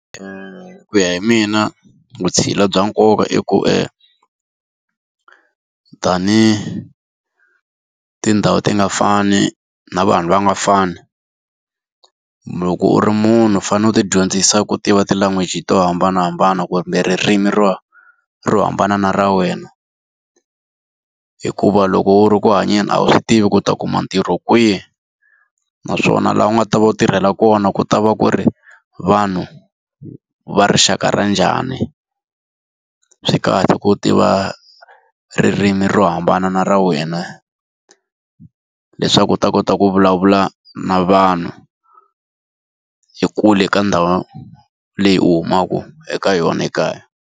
Ku ya hi mina vutshila bya nkoka i ku tanihi tindhawu ti nga fani na vanhu va nga fani, loko u ri munhu u fanele u ti dyondzisa ku tiva ti-language to hambanahambana kumbe ririmi ro ro hambana na ra wena. Hikuva loko u ri ku hanyeni a wu swi tivi ku u ta kuma ntirho kwihi, naswona laha u nga ta va tirhela kona ku ta va ku ri vanhu va rixaka ra njhani. Swi kahle ku tiva ririmi ro hambana n'wana ra wena, leswaku u ta kota ku vulavula na vanhu kule ka ndhawu leyi u humaka eka yona ekaya.